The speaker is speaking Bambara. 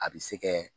A bɛ se kɛ